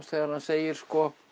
þegar hann segir